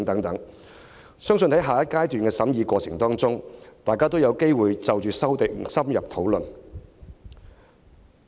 我相信在下個階段的審議過程中，大家也有機會就各項修訂深入討論。